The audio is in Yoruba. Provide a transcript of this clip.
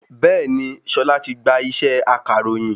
Bẹ́ẹ̀ni, Ṣọlá ti gba ṣẹ́ akàròyìn